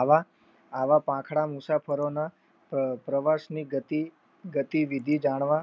આવા આવા પાંખડાં મુસાફરોના પ્રવાસની ગતિ દીધી જાણવા